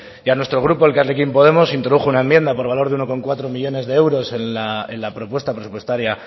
y a nuestro grupo elkarrekin podemos se introdujo una enmienda por valor de uno coma cuatro millónes de euros en la propuesta presupuestaria